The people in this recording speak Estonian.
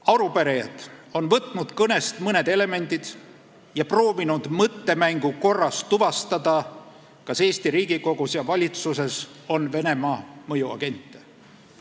Arupärijad on võtnud kõnest mõned elemendid ja proovinud mõttemängu korras tuvastada, kas Eesti Riigikogus ja valitsuses on Venemaa mõjuagente.